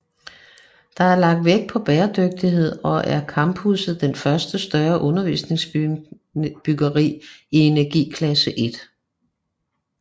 Der er lagt vægt på bæredygtig og er campusset det første større undervisningsbyggeri i enerigklasse 1